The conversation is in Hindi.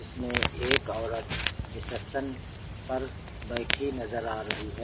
इसमें एक औरत रिसेप्शन पर बैठी नजर आ रही है।